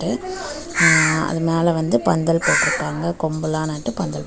அ அது மேல வந்து பந்தல் போட்ருக்காங்க கொம்பெல்லாம் நட்டு பந்தல் போட்--